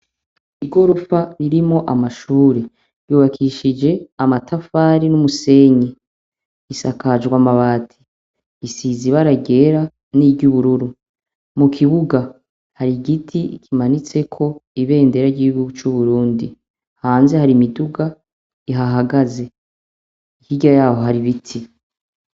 Igorofa irimwo amashuri yubakishije amatafari n'umusenyi, isakajwe amabati, isize ibara ryera niry'ubururu, mukibuga hari igiti kimanitseko ibendera ry'igihugu c'Uburundi, hanze hari imiduga ihahagaze hirya yaho hari ibiti.